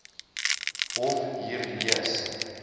hof hier lees